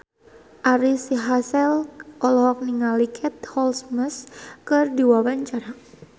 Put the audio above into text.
Ari Sihasale olohok ningali Katie Holmes keur diwawancara